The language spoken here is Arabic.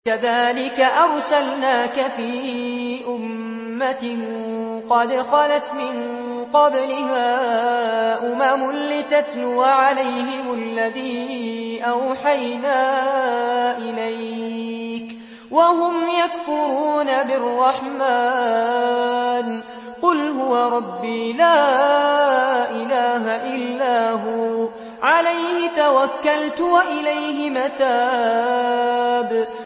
كَذَٰلِكَ أَرْسَلْنَاكَ فِي أُمَّةٍ قَدْ خَلَتْ مِن قَبْلِهَا أُمَمٌ لِّتَتْلُوَ عَلَيْهِمُ الَّذِي أَوْحَيْنَا إِلَيْكَ وَهُمْ يَكْفُرُونَ بِالرَّحْمَٰنِ ۚ قُلْ هُوَ رَبِّي لَا إِلَٰهَ إِلَّا هُوَ عَلَيْهِ تَوَكَّلْتُ وَإِلَيْهِ مَتَابِ